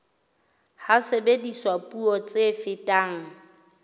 ha sebediswa puo tse fetang